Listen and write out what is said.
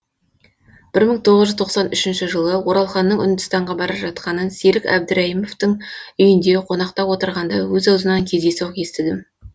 бір мың тоғыз жүз тоқсан үшінші жылы оралханның үндістанға бара жатқанын серік әбдірайыміптің үйінде қонақта отырғанда өз аузынан кездейсоқ естідім